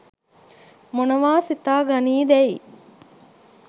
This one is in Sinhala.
මොනවා සිතා ගනීදැයි